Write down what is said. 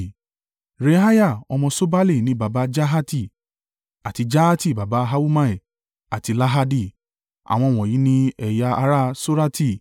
Reaiah ọmọ Ṣobali ni baba Jahati, àti Jahati baba Ahumai àti Lahadi. Àwọn wọ̀nyí ni ẹ̀yà ará Sorati.